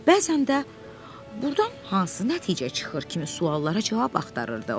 Bəzən də burdan hansı nəticə çıxır kimi suallara cavab axtarırdı.